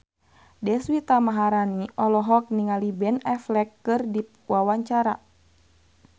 Deswita Maharani olohok ningali Ben Affleck keur diwawancara